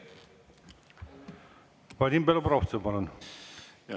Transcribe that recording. Vadim Belobrovtsev, palun!